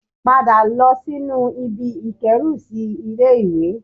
Padà lọ sínú ibi ìkérùsí ilé-ìwé